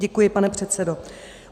Děkuji, pane předsedo.